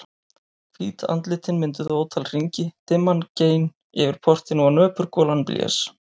Hvít andlitin mynduðu ótal hringi, dimman gein yfir portinu og nöpur golan blés.